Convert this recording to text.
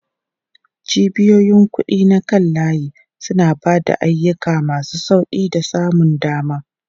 Cibiyoyin kuɗi na kan layi suna ba da ayyuka masu sauƙi da samun dama.